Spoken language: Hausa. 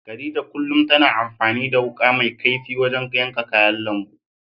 Khadija kullum tana amfani da wuƙa mai kaifi wajen yanka kayan lambu.